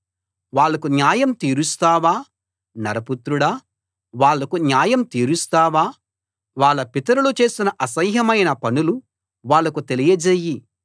వాళ్లకు న్యాయం తీరుస్తావా నరపుత్రుడా వాళ్లకు న్యాయం తీరుస్తావా వాళ్ళ పితరులు చేసిన అసహ్యమైన పనులు వాళ్ళకు తెలియజేయి